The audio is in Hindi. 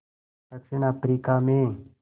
दक्षिण अफ्रीका में